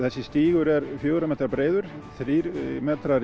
þessi stígur er fjögurra metra breiður þrír metrar